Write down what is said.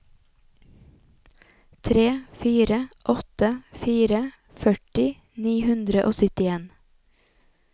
tre fire åtte fire førti ni hundre og syttien